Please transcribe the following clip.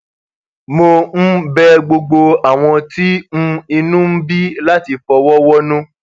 mo um bẹ gbogbo àwọn tí um inú ń bí láti fọwọ wọnú